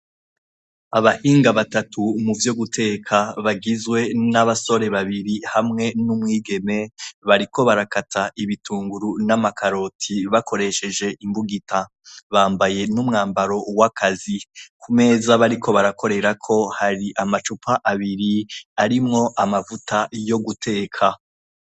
Abahinga batatu muvyo guteka bagizwe n'abasore babiri hamwe n'umwigeme bariko barakata ibitunguru n'amakaroti bakoresheje imbugita. Bambaye n'umwambaro w'akazi. Ku meza bariko barakorerako hari amacupa abiri arimwo amavuta yo guteka.